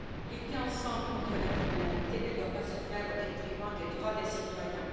Lutter ensemble contre la criminalité ne doit pas se faire au détriment des droits des citoyens.